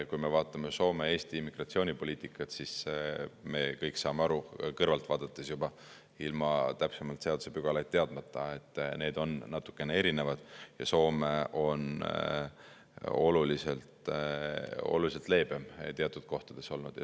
Kui me vaatame Soome ja Eesti immigratsioonipoliitikat, siis me kõik saame juba kõrvalt vaadates aru, ilma täpsemalt seadusepügalaid teadmata, et need on natukene erinevad ja Soome on teatud mõttes oluliselt leebem olnud.